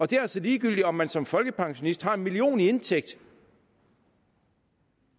det er altså ligegyldigt om man som folkepensionist har en million i indtægt